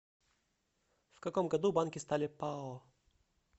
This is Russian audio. в каком году банки стали пао